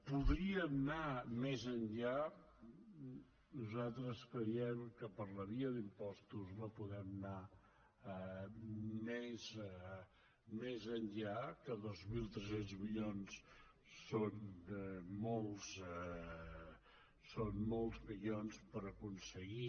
podríem anar més enllà nosaltres creiem que per la via d’impostos no podem anar més enllà que dos mil tres cents milions són molts milions per aconseguir